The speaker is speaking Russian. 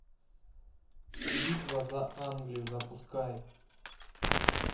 битва за англию запускай